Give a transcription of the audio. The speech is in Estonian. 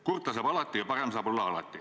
Kurta saab alati ja parem saab alati olla.